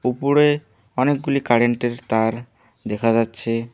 উপরে অনেকগুলি কারেন্ট -এর তার দেখা যাচ্ছে।